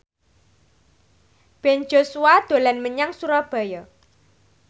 Ben Joshua dolan menyang Surabaya